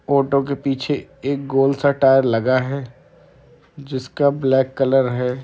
Auto के पीछे एक गोल-सा टायर लगा है जिसका ब्लैक कलर है।